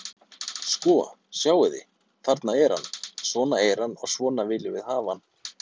Sko, sjáið þið, þarna er hann, svona er hann og svona viljum við hafa hann.